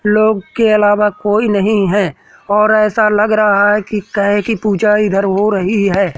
लोग के अलावा कोई नहीं है और ऐसा लग रहा है कि गाय की पूजा इधर हो रही है।